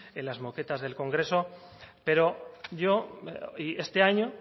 en las moquetas del congreso pero yo este año